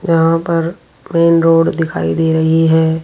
यहां पर main road दिखाई दे रही है।